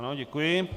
Ano, děkuji.